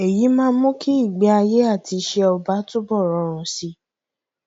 èyí máa mú kí ìgbéayé àti iṣẹ ọba túbọ rọrùn sí i